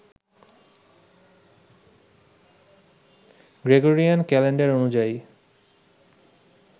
Gregorian calendar অনুযায়ী